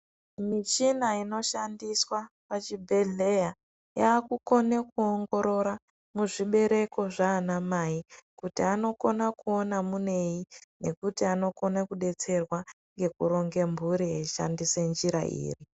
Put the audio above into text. Michina inoshandiswa pazvibhedhleya yaakukona kuongorora zvibereko zvaana mai kuti anokona kuona munei nekuti anokona kudetserwa ngekuronga mhuri eishandisa njira iri.